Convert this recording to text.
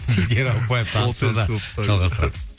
жігер ауыпбаев жалғастырамыз